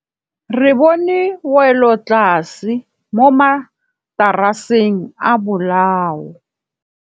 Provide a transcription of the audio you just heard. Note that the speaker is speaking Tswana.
Re bone wêlôtlasê mo mataraseng a bolaô.